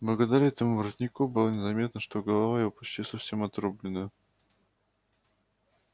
благодаря этому воротнику было незаметно что голова его почти совсем отрублена